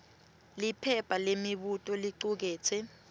liphepha lemibuto licuketse